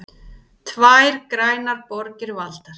Tvær grænar borgir valdar